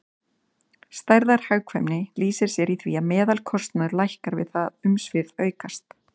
Stærðarhagkvæmni lýsir sér í því að meðalkostnaður lækkar við það að umsvif aukast.